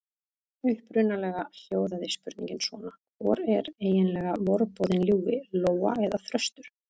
Upprunalega hljóðaði spurningin svona: Hvor er eiginlega vorboðinn ljúfi: Lóa eða þröstur?